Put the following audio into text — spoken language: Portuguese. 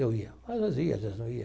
Eu ia, mas ia as vezes não ia.